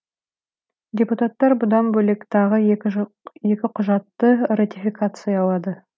депутаттар бұдан бөлек тағы екі құжатты ратификациялады